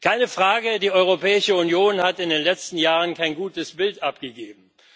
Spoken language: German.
Keine Frage, die Europäische Union hat in den letzten Jahren kein gutes Bild abgegeben.